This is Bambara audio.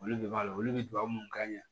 Olu de b'a la olu bɛ duwawu munnu k'a ɲɛ